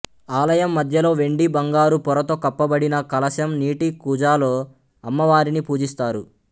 ఆలయం మధ్యలో వెండి బంగారు పొరతో కప్పబడిన కలశం నీటి కూజాలో అమ్మవారిని పూజిస్తారు